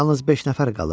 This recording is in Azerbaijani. Yalnız beş nəfər qalıb.